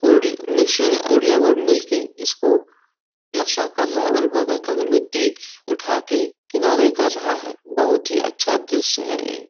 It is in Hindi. और मिस्त्री और लेबर मिल के इसको प्लास्टर कर रहा है और बगल का भी मिट्टी उठा के किनारे कर रहा है बहुत ही अच्छा दृश्य है ये।